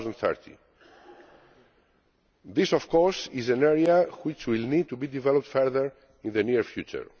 2030. This of course is an area which will need to be developed further in the near future.